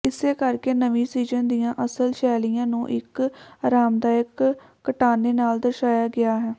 ਇਸੇ ਕਰਕੇ ਨਵੀਂ ਸੀਜ਼ਨ ਦੀਆਂ ਅਸਲ ਸ਼ੈਲੀਆਂ ਨੂੰ ਇਕ ਅਰਾਮਦਾਇਕ ਕਟਾਣੇ ਨਾਲ ਦਰਸਾਇਆ ਗਿਆ ਹੈ